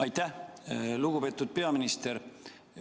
Aitäh, lugupeetud peaminister!